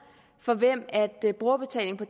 for hvem brugerbetaling på